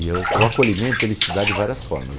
E o o acolhimento se dá de várias formas.